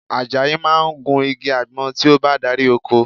Àjàyí máa gun igi àgbọn tí ó bá dárí oko